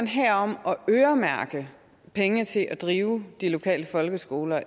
her om at øremærke penge til at drive de lokale folkeskoler og